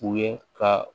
U ye ka